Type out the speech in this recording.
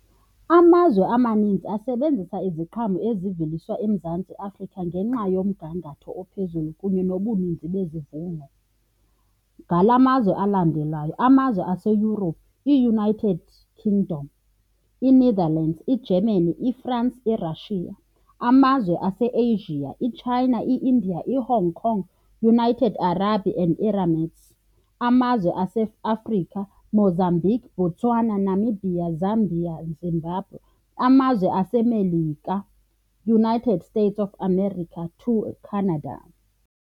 Amazwe amaninzi asebenzisa iziqhamo eziveliswa eMzantsi Afrika ngenxa yomgangatho ophezulu kunye nobuninzi bezivuno. Ngala mazwe alandelayo, amazwe aseYurophu, iUnited Kingdom, iNetherlands, iGermany, iFrance, iRussia. Amazwe aseAsia, iChina, i-India, iHong Kong, United Arab and Emirates. Amazwe aseAfrica, Mozambique, Botswana, Namibia, Zambia, Zimbabwe. Amazwe aseMelika, United States of America to eCanada.